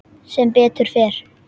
Sem betur fer?